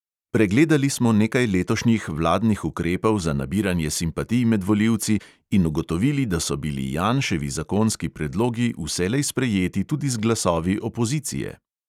Pregledali smo nekaj letošnjih vladnih ukrepov za nabiranje simpatij med volivci in ugotovili, da so bili janševi zakonski predlogi vselej sprejeti tudi z glasovi opozicije.